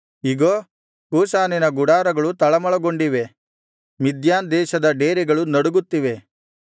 ಇಗೋ ಕೂಷಾನಿನ ಗುಡಾರಗಳು ತಳಮಳಗೊಂಡಿವೆ ಮಿದ್ಯಾನ್ ದೇಶದ ಡೇರೆಗಳು ನಡುಗುತ್ತಿವೆ